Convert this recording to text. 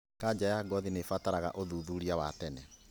Kanja ya ngothi nĩibataraga ũthuthuria wa tene